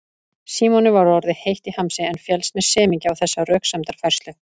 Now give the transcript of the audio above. Símoni var orðið heitt í hamsi en féllst með semingi á þessa röksemdafærslu.